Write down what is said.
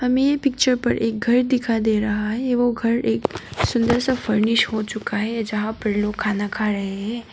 में पिक्चर पर एक घर दिखाई दे रहा है यह वो घर एक सुंदर सा फर्निश हो चुका है यहां पर लोग खाना खा रहे हैं।